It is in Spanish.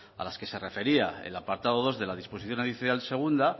a los que se refería el apartado dos de la disposición adicional segunda